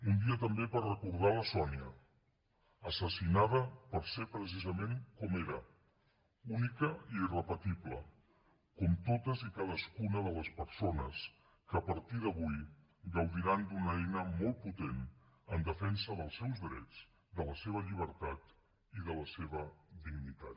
un dia també per recordar la sònia assassinada pel fet de ser precisament com era única i irrepetible com totes i cadascuna de les persones que a partir d’avui gaudiran d’una eina molt potent en defensa dels seus drets de la seva llibertat i de la seva dignitat